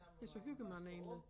Ja så hygger man egentlig